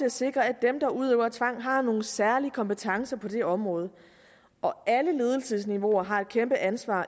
at sikre at dem der udøver tvang har nogle særlige kompetencer på det område og alle ledelsesniveauer har et kæmpe ansvar